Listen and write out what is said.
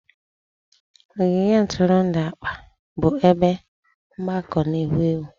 Ogige ntụrụndụ akpa bụ ebe mgbakọ na-ewu ewu.